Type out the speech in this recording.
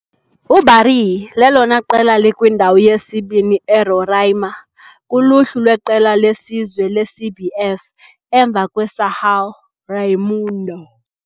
UBaré lelona qela likwindawo yesibini eRoraima kuluhlu lweqela lesizwe leCBF, emva kweSão Raimundo.